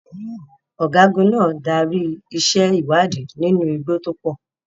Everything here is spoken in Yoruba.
Ọ̀gágun náà darí iṣẹ́ ìwádìí nínú igbó tó pọ̀.